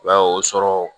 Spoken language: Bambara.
I b'a ye o sɔrɔ